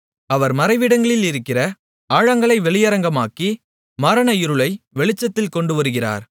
அவர் மறைவிடத்திலிருக்கிற ஆழங்களை வெளியரங்கமாக்கி மரண இருளை வெளிச்சத்தில் கொண்டுவருகிறார்